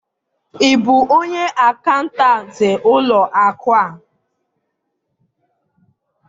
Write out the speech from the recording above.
ị bụ onye akaụntantị ụlọ akụ a?